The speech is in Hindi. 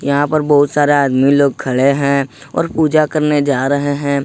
यहां पर बहुत सारा आदमी लोग खड़े हैं और पूजा करने जा रहे हैं ।